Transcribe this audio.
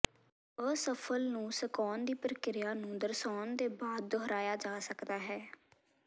ਅਸਫਲ ਨੂੰ ਸੁਕਾਉਣ ਦੀ ਪ੍ਰਕਿਰਿਆ ਨੂੰ ਦਰਸਾਉਣ ਦੇ ਬਾਅਦ ਦੁਹਰਾਇਆ ਜਾ ਸਕਦਾ ਹੈ